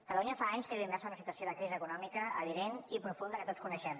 catalunya fa anys que viu immersa en una situació de crisi econòmica evident i profunda que tots coneixem